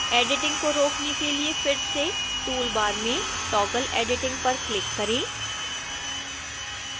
editing को रोकने के लिए फिर से टूल बार में toggle editing पर क्लिक करें